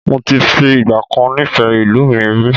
Moti fi ìgbàkan nifẹ ìlú mi rí